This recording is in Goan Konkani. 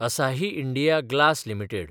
असाही इंडिया ग्लास लिमिटेड